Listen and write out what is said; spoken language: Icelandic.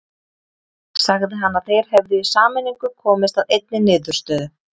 Sagði hann að þeir hefðu í sameiningu komist að einni niðurstöðu.